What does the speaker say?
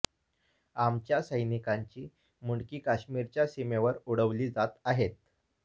आमच्या सैनिकांची मुंडकी काश्मीरच्या सीमेवर उडवली जात आहेत